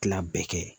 Tila bɛɛ kɛ